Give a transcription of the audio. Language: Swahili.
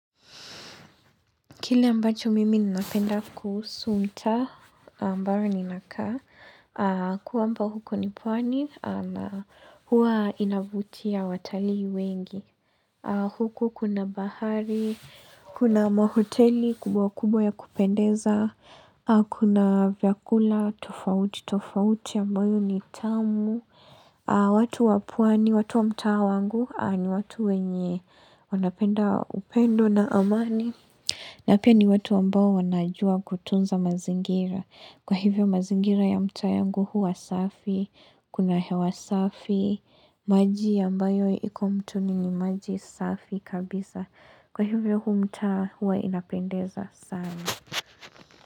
Kile ambacho mimi ninapenda kusunta ambayo ninakaa kwamba huko ni pwani na huwa inavutia watalii wengi. Huko kuna bahari, kuna mahoteli kubwa kubwa ya kupendeza, kuna vyakula tofauti, tofauti ambayo ni tamu. Watu wa pwani, watu wa mtaa wangu ni watu wenye wanapenda upendo na amani. Na pia ni watu ambao wanajua kutunza mazingira. Kwa hivyo mazingira ya mtaa yangu huwa safi, kuna hewa safi, maji ambayo iko mtoni ni maji safi kabisa. Kwa hivyo huu mtaa huwa inapendeza sana.